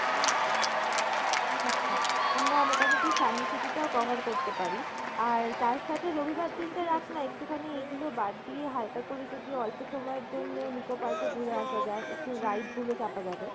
আচ্ছা, আমরা মোটামোটি Science City টাও cover করতে পারি, আর তার সাথে রবিবার দিন টা রাখ না একটুখানি এগুলো বাদ দিয়ে হালকা করে যদি অল্প সময়ের জন্য Nicco Park এ ঘুরে আসা যায় একটু ride গুলো চাপা যাবে।